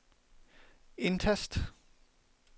indtast